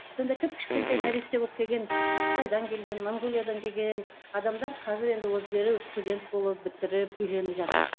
сонда кіп кішкентай нәресте болып келген кытайдан келген монғолиядан келген адамдар қазір енді өздері студент болып бітіріп үйленіп жатыр